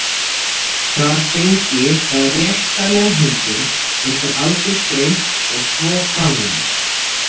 Þar fengi það rétta meðhöndlun, yrði aldursgreint og svo framvegis.